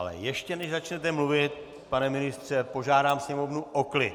Ale ještě než začnete mluvit, pane ministře, požádám sněmovnu o klid!